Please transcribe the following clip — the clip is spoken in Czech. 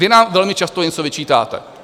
Vy nám velmi často něco vyčítáte.